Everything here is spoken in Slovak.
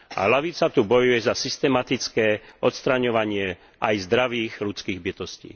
A ľavica tu bojuje za systematické odstraňovanie aj zdravých ľudských bytostí.